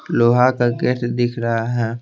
लोहा का गेट दिख रहा है।